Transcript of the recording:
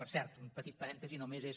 per cert un petit parèntesi només és